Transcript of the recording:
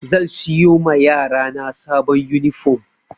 Zan siyo ma yarana sabon yunifom